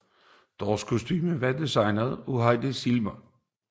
Deres kostumer var designet af Hedi Slimane